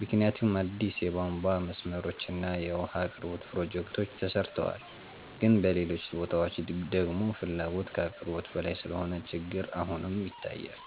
ምክንያቱም አዲስ የቧንቧ መስመሮች እና የውሃ አቅርቦት ፕሮጀክቶች ተሰርተዋል። ግን በሌሎች ቦታዎች ደግሞ ፍላጎት ከአቅርቦት በላይ ስለሆነ ችግር አሁንም ይታያል።